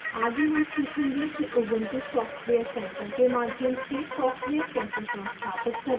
आगे हम सीखेंगे कि ubuntu software center के माध्यम से सॉफ्टवेयर कैसे संस्थापित करें